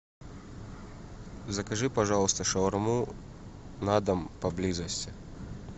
закажи пожалуйста шаурму на дом поблизости